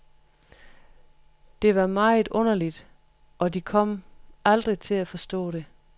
Det var meget underligt, og de kom aldrig til at forstå det.